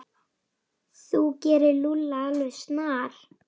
Þú gerir Lúlla alveg snar,